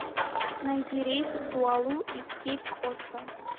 найди рейс в дуалу из кейп коста